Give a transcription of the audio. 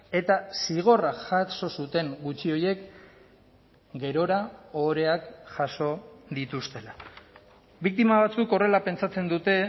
eta zigorra jaso zuten gutxi horiek gerora ohoreak jaso dituztela biktima batzuk horrela pentsatzen dute